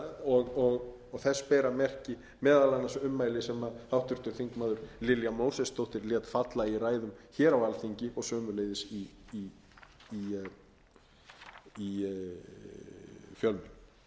og þess bera merki meðal annars ummæli sem háttvirtur þingmaður lilja mósesdóttir lét falla í ræðu hér á alþingi og sömuleiðis í fjölmiðlum að